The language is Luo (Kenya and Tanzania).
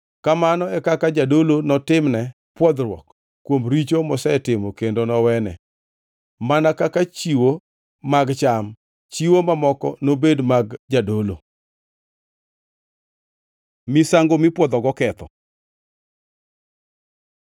Kamano e kaka jadolo notimne pwodhruok kuom richo mosetimo kendo nowene. Mana kaka chiwo mag cham, chiwo mamoko nobed mag jadolo.’ ” Misango mipwodhogo ketho